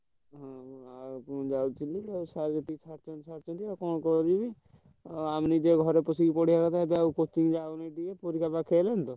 ଆଉ ମୁଁ ଯାଉଥିଲି ସାର ଯେତିକି ସାରିଛନ୍ତି ସାରିଛନ୍ତି ଆମେ ତ ଘରେ ବସି ପଢିବା କଥା ଆଉ coaching ଯାଉନାହାନ୍ତି କେହି ପରୀକ୍ଷା ପାଖେଇ ଆସିଲାଣି ତ।